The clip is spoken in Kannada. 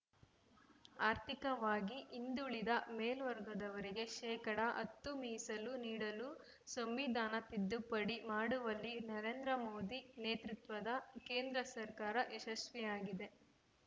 ಆರ್ಥಿಕವಾಗಿ ಹಿಂದುಳಿದ ಮೇಲ್ವರ್ಗದವರಿಗೆ ಶೇಕಡಾ ಹತ್ತು ಮೀಸಲು ನೀಡಲು ಸಂವಿಧಾನ ತಿದ್ದುಪಡಿ ಮಾಡುವಲ್ಲಿ ನರೇಂದ್ರ ಮೋದಿ ನೇತೃತ್ವದ ಕೇಂದ್ರ ಸರ್ಕಾರ ಯಶಸ್ವಿಯಾಗಿದೆ